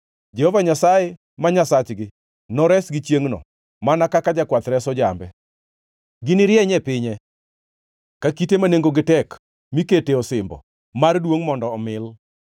Jehova Nyasaye ma Nyasachgi noresgi chiengʼno mana kaka jakwath reso jambe. Ginirieny e pinye ka kite ma nengogi tek mikete osimbo mar duongʼ mondo omil.